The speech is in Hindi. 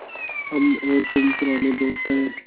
हम और तुम पुराने दोस्त हैं